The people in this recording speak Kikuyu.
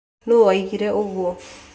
Nu waugire uguo